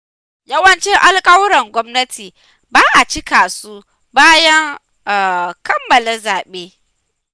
Yawancin alƙawuran gwamnati ba a cika su bayan kammala zaɓe.